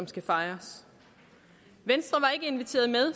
skal fejres venstre var ikke inviteret med